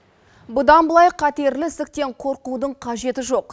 бұдан былай қатерлі ісіктен қорқудың қажеті жоқ